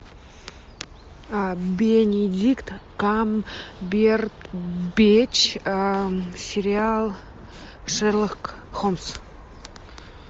бенедикт камбербэтч сериал шерлок холмс